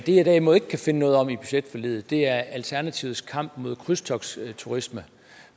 det jeg derimod ikke kan finde noget om i budgetforliget er alternativets kamp mod krydstogtsturisme